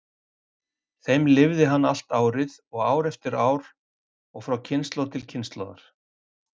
þeim lifði hann allt árið og ár eftir ár og frá kynslóð til kynslóðar.